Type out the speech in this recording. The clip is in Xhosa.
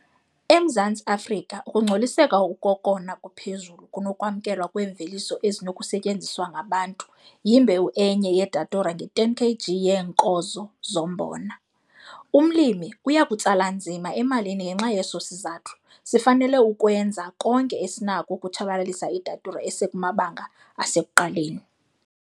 EMzantsi Afrika ukungcoliseka okukokona kuphezulu kunokwamkelwa kweemveliso ezinokusetyenziswa ngabantu yimbewu enye yeDatura nge-10 kg yeenkozo zombona. Umlimi uya kutsala nzima emalini ngenxa yeso sizathu sifanele ukwenza konke esinako ukutshabalalisa iDatura isekumabanga asekuqaleni.